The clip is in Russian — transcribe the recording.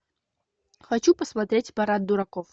хочу посмотреть парад дураков